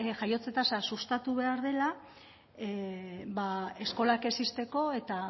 jaiotze tasa sustatu behar dela eskolak ez ixteko eta